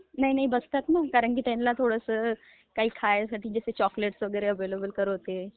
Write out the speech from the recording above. नाही नाही बसताता ना, त्यांना कसं चॉक्लेट वगैरे ऍव्हेलेबल करवते...